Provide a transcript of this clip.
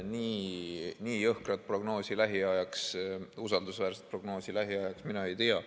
Nii jõhkrat prognoosi lähiajaks, usaldusväärset prognoosi lähiajaks mina ei tea.